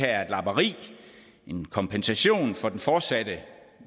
er et lapperi en kompensation for den fortsatte